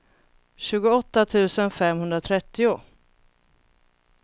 tjugoåtta tusen femhundratrettio